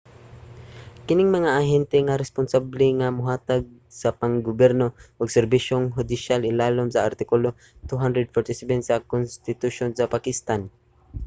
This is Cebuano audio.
kining mga ahente ang responsable nga mohatag sa pang-gobyerno ug serbisyong hudisyal ilalom sa artikulo 247 sa konstitusyon sa pakistan